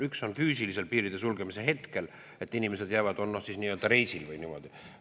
Üks on see, kui piiride sulgemise hetkel inimesed füüsiliselt jäävad sinna, on siis nii-öelda reisil või niimoodi.